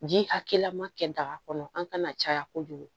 Ji hakɛya ma kɛ daga kɔnɔ an kana caya kojugu